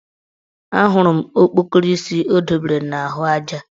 Ahụrụ m okpokoro isi o dobere n' ahụaja